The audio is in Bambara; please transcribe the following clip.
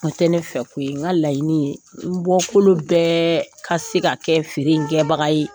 O tɛ ne fɛ ko ye n ka laɲini ye, n bɔkolo bɛɛ ka se ka kɛ feere in kɛbaga ye.